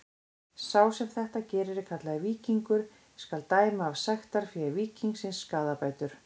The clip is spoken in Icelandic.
Sá sem þetta gerir er kallaður víkingur: skal dæma af sektarfé víkingsins skaðabætur.